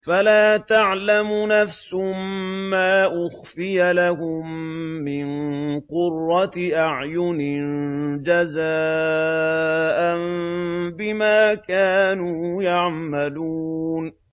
فَلَا تَعْلَمُ نَفْسٌ مَّا أُخْفِيَ لَهُم مِّن قُرَّةِ أَعْيُنٍ جَزَاءً بِمَا كَانُوا يَعْمَلُونَ